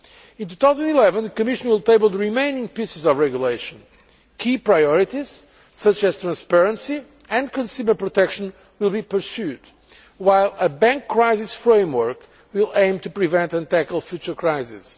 In 2011, the Commission will table the remaining pieces of regulation. Key priorities, such as transparency and consumer protection, will be pursued, while a bank crisis framework will aim to prevent and tackle future crises.